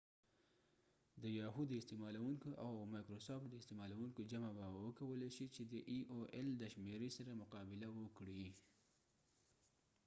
د یاهو د استعمالوونکو او مایکرسافت د استعمالوونکو جمع به وکولای شي چې د ای او ایل د شمیری سره مقا بله وکړي